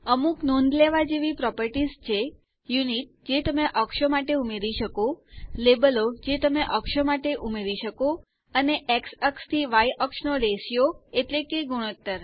અમુક નોંધ લેવા જેવી પ્રોપરટીશ છે યુનિટ જે તમે અક્ષો માટે ઉમેરી શકો લેબલો જે તમે અક્ષો માટે ઉમેરી શકો અને એક્સ અક્ષ થી વાય અક્ષ નો રતિઓ એટલે કે ગુણોત્તર